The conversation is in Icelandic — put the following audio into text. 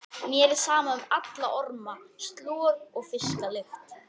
Mér er sama um alla orma, slor og fisklykt.